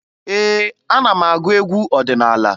Ee, ana m agụ egwu ọdịnaala